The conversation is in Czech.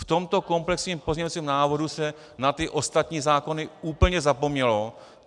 V tomto komplexním pozměňovacím návrhu se na ty ostatní zákony úplně zapomnělo.